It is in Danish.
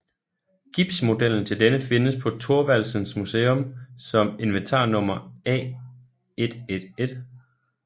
Gipsmodellen til denne findes på Thorvaldsens Museum som inventarnummer A111